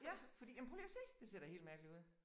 Ja fordi jamen prøv lige at se! Det ser da helt mærkeligt ud